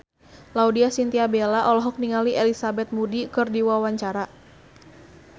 Laudya Chintya Bella olohok ningali Elizabeth Moody keur diwawancara